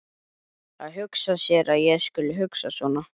Að hugsa sér að ég skuli hugsa svona!